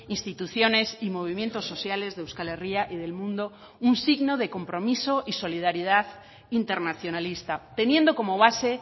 instituciones y movimientos sociales de euskal herria y del mundo un signo de compromiso y solidaridad internacionalista teniendo como base